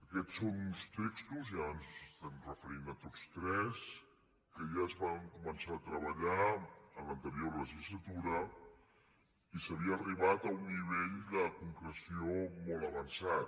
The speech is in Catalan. aquests són uns textos i ara ens estem referint a tots tres que ja es van començar a treballar en l’anterior legislatura i s’havia arribat a un nivell de concreció molt avançat